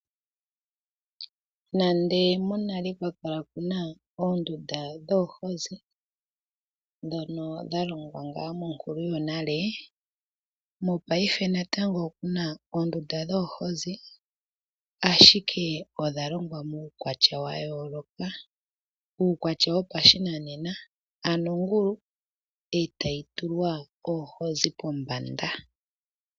Nande monale ka kwali kuna oondunda dhoohozi, ndhono dha longwa ngaa monkulu yo nale, mopaife natango okuna oondunda dhoohozi ashike odha longwa muukwatya wa yooloka. Uukwatya wopashinanena, ano ongulu e tayi tulwa oohozi pombanda.